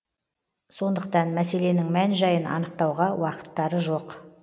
сондықтан мәселенің мән жайын анықтауға уақыттары жоқ